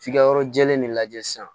F'i ka yɔrɔ jɛlen de lajɛ sisan